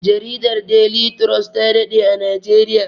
Jaridar deli turos ta daɗe a najeriya